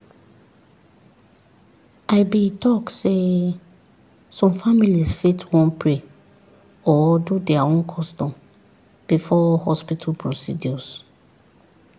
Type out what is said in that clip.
i be talk sey some families fit want pray or do their own custom before hospital procedures